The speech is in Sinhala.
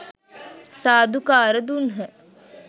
සාධුකාර දුන්හ.